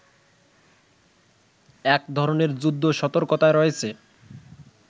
এক ধরনের ‘যুদ্ধ সতর্কতায়’ রয়েছে